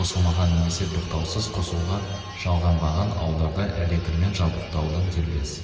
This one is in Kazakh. қосылмаған немесе тоқтаусыз қосылуға жалғанбаған ауылдарда электрмен жабдықтаудың дербес